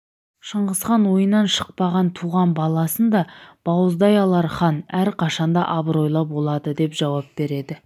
шыңғысхан ойынан шықпаған туған баласын да бауыздай алар хан әрқашанда абыройлы боладыдеп жауап береді